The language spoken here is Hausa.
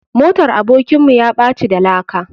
Motar abokin mu yaɓaci da laka.